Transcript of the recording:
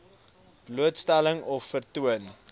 blootstelling of vertoon